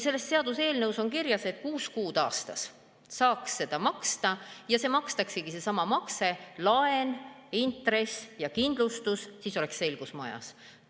Selles seaduseelnõus on kirjas, et kuus kuud aastas saaks seda maksta ja kui see makstaksegi – seesama makse, laen, intress ja kindlustus –, siis oleks selgus majas.